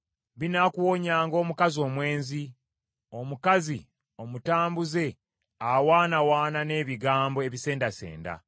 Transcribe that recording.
Binaakuwonyanga omukazi omwenzi, omukazi omutambuze awaanawaana n’ebigambo ebisendasenda.